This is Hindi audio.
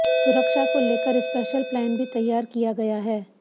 सुरक्षा को लेकर स्पेशल प्लान भी तैयार किया गया है